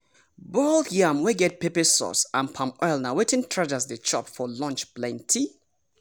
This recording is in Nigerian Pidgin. boiled yam wey get pepper sauce and palm oil na wetin traders dey chop for lunch plenty.